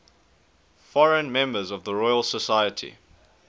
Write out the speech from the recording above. foreign members of the royal society